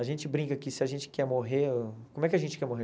A gente brinca que se a gente quer morrer... Como é que a gente quer morrer?